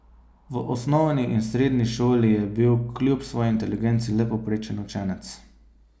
V osnovni in srednji šoli je bil kljub svoji inteligenci le povprečen učenec.